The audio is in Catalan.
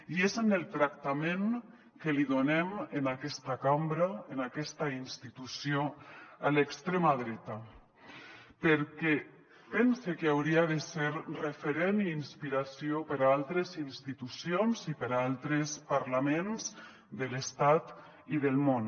i és en el tractament que li donem en aquesta cambra en aquesta institució a l’extrema dreta perquè pense que hauria de ser referent i inspiració per a altres institucions i per a altres parlaments de l’estat i del món